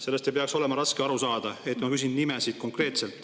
Sellest ei peaks olema raske aru saada, et ma küsin konkreetseid nimesid.